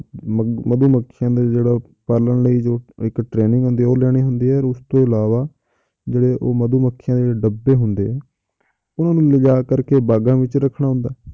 ਮ~ ਮਧੂਮੱਖੀਆਂ ਦੇ ਜਿਹੜਾ ਪਾਲਣ ਲਈ ਜੋ ਇੱਕ training ਹੁੰਦੀ ਹੈ ਉਹ ਲੈਣੀ ਹੁੰਦੀ ਹੈ ਉਸ ਤੋਂ ਇਲਾਵਾ ਜਿਹੜੇ ਉਹ ਮਧੂਮੱਖੀਆਂ ਦੇ ਡੱਬੇ ਹੁੰਦੇ ਆ, ਉਹਨਾਂ ਨੂੰ ਲਿਜਾ ਕਰਕੇ ਬਾਗ਼ਾਂ ਵਿੱਚ ਰੱਖਣਾ ਹੁੰਦਾ ਹੈ,